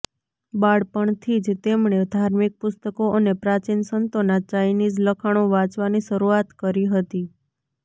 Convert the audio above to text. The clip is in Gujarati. બાળપણથી જ તેમણે ધાર્મિક પુસ્તકો અને પ્રાચીન સંતોના ચાઇનિઝ લખાણો વાંચવાની શરૂઆત કરી હતી